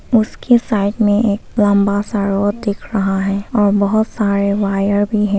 उसके साइड में एक लंबा सा रोड दिख रहा है और बहुत सारे वायर भी हैं।